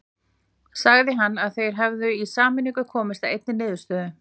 Sagði hann að þeir hefðu í sameiningu komist að einni niðurstöðu.